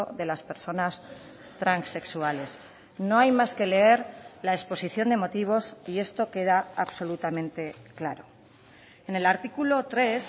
de las personas transexuales no hay más que leer la exposición de motivos y esto queda absolutamente claro en el artículo tres